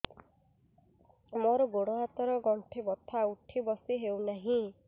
ମୋର ଗୋଡ଼ ହାତ ର ଗଣ୍ଠି ବଥା ଉଠି ବସି ହେଉନାହିଁ